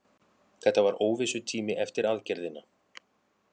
Þetta var óvissutími eftir aðgerðina.